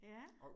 Ja